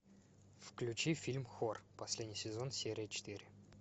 включи фильм хор последний сезон серия четыре